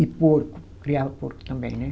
E porco, criava porco também, né?